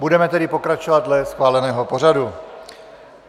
Budeme tedy pokračovat dle schváleného pořadu.